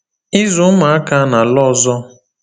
Ịzụ Ụmụaka n’ala ọzọ